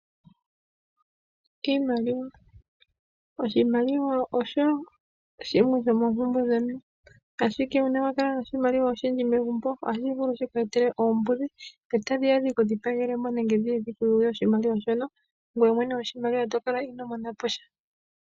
Oshimaliwa osho shimwe sho mompumbwe yomuntu, ashike ngele owuna oshimaliwa oshindji megumbo otashi vulu shiku etele oombudhi etadhiya dhiku dhigapagele mo nenge dhiku yuge oshimaliwa ngoye mwene goshimaliwa tokala inoo monaposha.